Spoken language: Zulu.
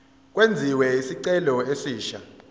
kwenziwe isicelo esisha